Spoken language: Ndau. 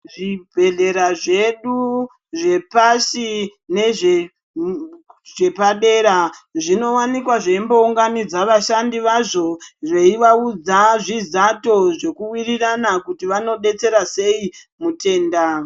Zvibhedhlera zvedu zvepashi nezvepadera zvinowanikwa zveimbounganidza vashandi vazvo veivaudza zvizato zvekuwirirana kuti vanodetsera sei mutenda.